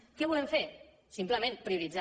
què volem fer simplement prioritzar